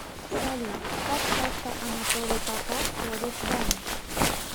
салют как часто анатолий попов ходит в баню